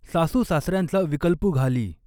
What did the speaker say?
सासू सासर्यांचा विकल्पु घाली।